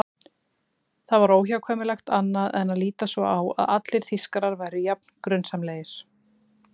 Það var óhjákvæmilegt annað en að líta svo á að allir Þýskarar væru jafn grunsamlegir.